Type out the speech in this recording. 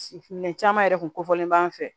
Minɛn caman yɛrɛ kun kofɔlen b'an fɛ